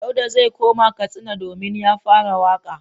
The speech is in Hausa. Dauda zai koma Katsina domin ya fara waƙa.